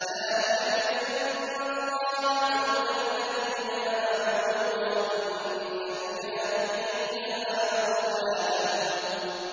ذَٰلِكَ بِأَنَّ اللَّهَ مَوْلَى الَّذِينَ آمَنُوا وَأَنَّ الْكَافِرِينَ لَا مَوْلَىٰ لَهُمْ